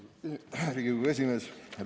Austatud Riigikogu esimees!